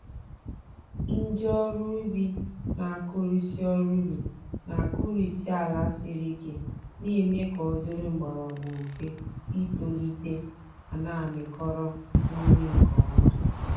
Ndị ọrụ ubi na-akụrisị ọrụ ubi na-akụrisị ala siri ike, na-eme ka ọ dịrị mgbọrọgwụ mfe itolite ma na-amịkọrọ nri nke ọma.